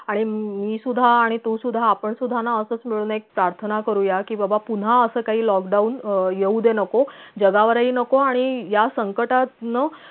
आणि मी सुद्धा आणि तू सुद्धा आपण सुद्धा ना असच मिळून एक task ना करूया कि बाबा पुन्हा अस काही lockdown अं येउदे नको जगावरही नको आणि या संकटातनं